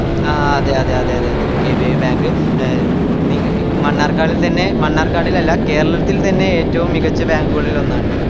ആഹ് അതെ അതെ അതെ അതെ അതെ കെ ബി എ bank മണ്ണാർക്കാടിൽ തന്നെ മണ്ണാർക്കാടിൽ അല്ല കേരളത്തില് തന്നെ ഏറ്റവും മികച് bank കളിൽ ഒന്നാണ്